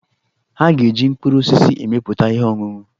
Ha ga-eji mkpụrụ osisi emepụta ihe ọṅụṅụ.